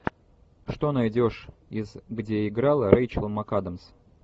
что найдешь из где играла рэйчел макадамс